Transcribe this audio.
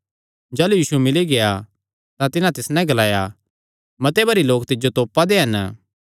जाह़लू यीशु मिल्ली गेआ तां तिसियो ग्लाया मते भरी लोक तिज्जो तोपा दे हन